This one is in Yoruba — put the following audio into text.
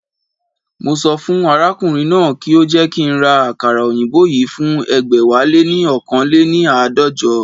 Mo sọ fún arákùnrin náà kí ó jẹ́ kí ń ra àkàrà òyìnbó yìí fún ẹgbẹ̀wáléní oókan léni àádọ́jọ